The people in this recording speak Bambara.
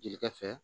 Jelikɛ fɛ